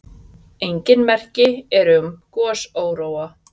Engin merki eru um gosóróa.